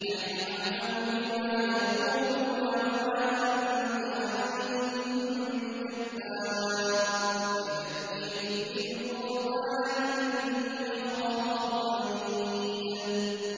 نَّحْنُ أَعْلَمُ بِمَا يَقُولُونَ ۖ وَمَا أَنتَ عَلَيْهِم بِجَبَّارٍ ۖ فَذَكِّرْ بِالْقُرْآنِ مَن يَخَافُ وَعِيدِ